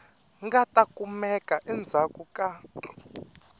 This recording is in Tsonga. nga ta kumeka endzhaku ka